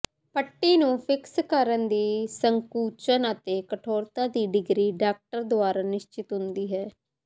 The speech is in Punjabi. ਪੱਟੀ ਨੂੰ ਫਿਕਸ ਕਰਨ ਦੀ ਸੰਕੁਚਨ ਅਤੇ ਕਠੋਰਤਾ ਦੀ ਡਿਗਰੀ ਡਾਕਟਰ ਦੁਆਰਾ ਨਿਸ਼ਚਿਤ ਹੁੰਦੀ ਹੈ